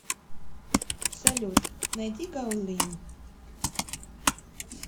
салют найди гаулин